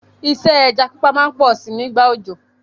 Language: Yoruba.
Isẹ́ ẹja pípa má n pọ si nígbà òjò